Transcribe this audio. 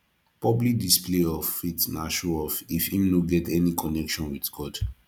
publi display of faith na show off if im no get any connection with god